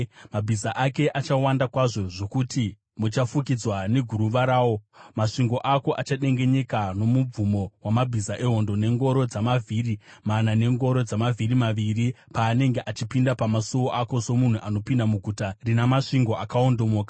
Mabhiza ake achawanda kwazvo zvokuti muchafukidzwa neguruva rawo. Masvingo ako achadengenyeka nomubvumo wamabhiza ehondo, nengoro dzamavhiri mana nengoro dzamavhiri maviri paanenge achipinda pamasuo ako somunhu anopinda muguta rina masvingo akaondomoka.